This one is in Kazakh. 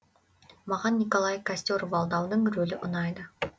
маған николай костер валдаудың рөлі ұнайды